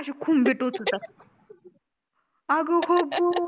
अशे खुंबे टोच होता अग हो ग